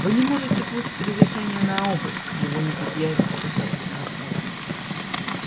вы не сможете получить разрешения на обыск его не предъявите достаточно оснований